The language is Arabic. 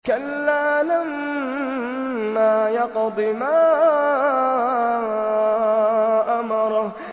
كَلَّا لَمَّا يَقْضِ مَا أَمَرَهُ